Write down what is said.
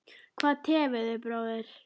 Hvað tefur þig bróðir?